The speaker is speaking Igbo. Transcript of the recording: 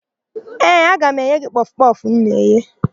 Ee, aga m enye gị kpọfụ kpọfụ m na-eghe.